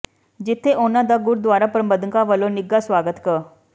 ਜਿੱਥੇ ਉਨ੍ਹਾਂ ਦਾ ਗੁਰਦੁਆਰਾ ਪ੍ਰਬੰਧਕਾਂ ਵਲੋਂ ਨਿੱਘਾ ਸਵਾਗਤ ਕ